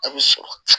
A' bɛ sɔrɔ